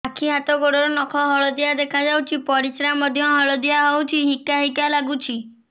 ଆଖି ହାତ ଗୋଡ଼ର ନଖ ହଳଦିଆ ଦେଖା ଯାଉଛି ପରିସ୍ରା ମଧ୍ୟ ହଳଦିଆ ହଉଛି ହିକା ହିକା ଲାଗୁଛି